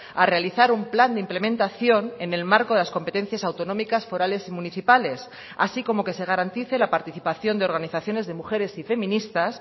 a realizar un plan de implementación en el marco de las competencias autonómicas forales y municipales así como que se garantice la participación de organizaciones de mujeres y feministas